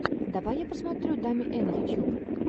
давай я посмотрю дами эн ютьюб